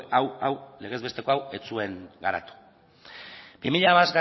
legez besteko hau ez zuen garatu